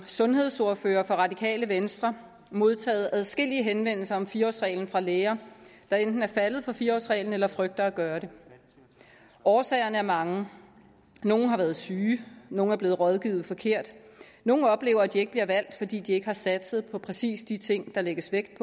sundhedsordfører for radikale venstre modtaget adskillige henvendelser om fire årsreglen fra læger der enten er faldet for fire årsreglen eller frygter at gøre det årsagerne er mange nogle har været syge nogle er blevet rådgivet forkert nogle oplever at de ikke bliver valgt fordi de ikke har satset på præcis de ting der lægges vægt